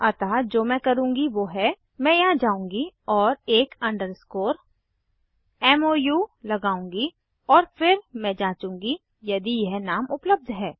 अतः जो मैं करुँगी वो है मैं यहाँ जाऊँगी और एक अंडरस्कोर मोउ लगाउंगी और फिर मैं जांचूंगी यदि यह नाम उपलब्ध है